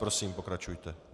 Prosím, pokračujte.